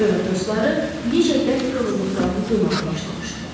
Röya dostları necə bərk yorulduqlarını duymağa başlamışdılar.